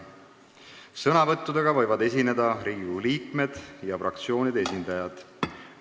Sõna võivad võtta Riigikogu liikmed ja fraktsioonide esindajad.